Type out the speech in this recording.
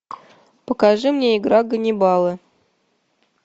покажи мне игра ганнибала